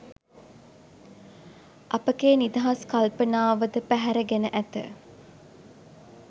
අපගේ නිදහස් කල්පනාව ද පැහැරගෙන ඇත.